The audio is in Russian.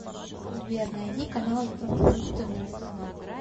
сбер найди канал европа плюс тв